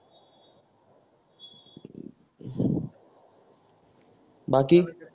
बाकी